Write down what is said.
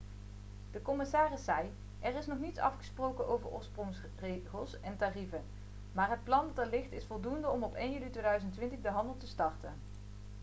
de commissaris zei: 'er is nog niets afgesproken over oorsprongsregels en tarieven maar het plan dat er ligt is voldoende om op 1 juli 2020 de handel te starten.'